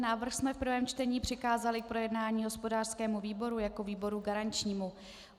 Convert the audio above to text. Návrh jsme v prvém čtení přikázali k projednání hospodářskému výboru jako výboru garančnímu.